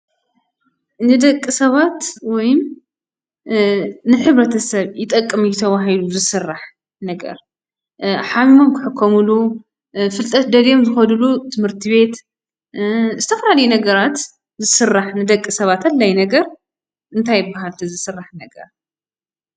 ንደቂ ሰባት ወይ ንሕብረተሰብ ይጠቅም እዩ ተባሂሉ ዝስራሕ ነገር ሓሚሞም ክሕከምሉ፣ ፍልጠት ደልዮም ዝኸድሉ ትምህርቲ ቤት፣ ዝተፈላለዩ ነገራት ዝስራሕ ንደቂ ሰባት ኣድላይ ነገር እንታይ ይበሃል እቲ ዝስራሕ ነገር ?